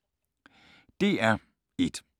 DR1